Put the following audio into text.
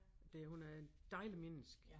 Det hun er et dejligt menneske